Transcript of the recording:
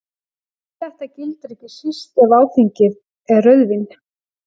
Þetta gildir ekki síst ef áfengið er rauðvín.